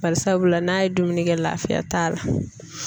Barisabula n'a ye dumuni kɛ laafiya t'a la.